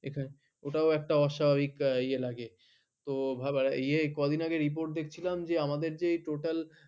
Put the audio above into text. ওটা একটা অস্বাভাবিক ইয়ে লাগে। কয়দিন আগে report দেখছিলাম যে আমাদের যে total